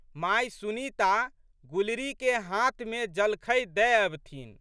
माय सुनीता गुलरीके हाथमे जलखै दए अबथिन।